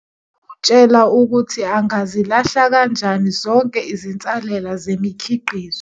Izokutshela ukuthi angazilahla kanjani zonke izinsalela zemikhiqizo.